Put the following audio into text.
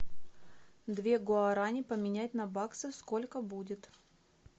две гуарани поменять на баксы сколько будет